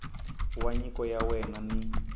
wa nyiko ya wena ni